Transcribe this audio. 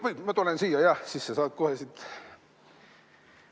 Või ma tulen siia, jah, siis sa saad kohe siit ...